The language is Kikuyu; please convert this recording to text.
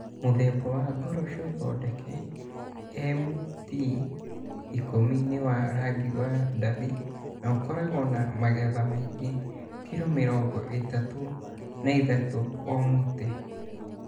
Mũthemba wa ngoroco thondeke MT10 nĩ wa rangi wa ndathi na ũkoragwo na magetha maingĩ (kilo mĩrongo ĩtatu na ithatatũ o mũtĩ).